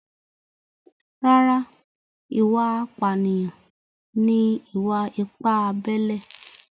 Rárá, ìwà apànìyàn ni ìwà-ipá abẹ́lé